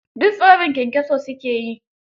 Duk tsorin kyankyaso su ke yi.